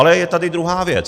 Ale je tady druhá věc.